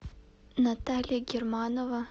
наталья германова